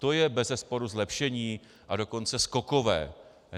To je bezesporu zlepšení, a dokonce skokové.